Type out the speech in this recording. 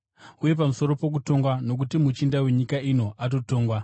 uye pamusoro pokutongwa, nokuti muchinda wenyika ino atotongwa.